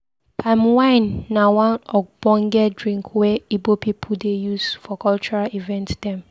Palm wine na one ogbonge drink wey Ibo pipu dey use for cultural event dem.